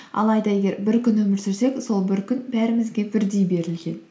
алайда егер бір күн өмір сүрсек сол бір күн бәрімізге бірдей берілген